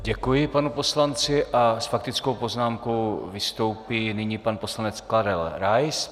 Děkuji panu poslanci a s faktickou poznámkou vystoupí nyní pan poslanec Karel Rais.